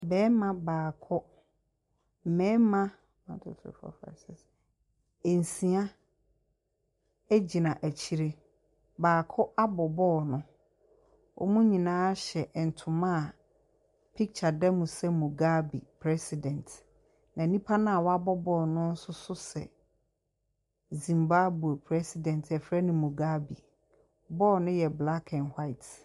Barima baako, mmarima nsia gyina akyire. Baako abɔ ball no. wɔn nyinaa hyɛ ntoma a picture da mu sɛ Mugabe president. Na onipa a wabɔ ball no nso sɛ Zimbabwe president a wɔfrɛ no Mugabe. Ball no yɛ black and white.